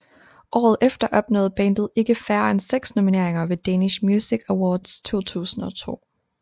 Året efter opnåede bandet ikke færre end seks nomineringer ved Danish Music Awards 2002